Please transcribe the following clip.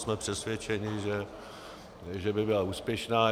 Jsme přesvědčeni, že by byla úspěšná.